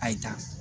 Ayi ta